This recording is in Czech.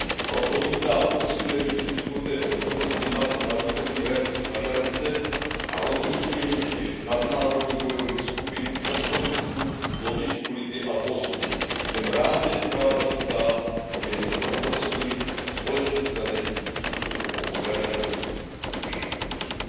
Proto vítám posílení předsunuté přítomnosti NATO na východní hranici aliance a rozmístění čtyř nadnárodních bojových skupin v Estonsku, Lotyšsku, Litvě a Polsku. Jsem rád, že zpráva říká, že je třeba posílit společný strategický přístup obou organizací vůči Rusku.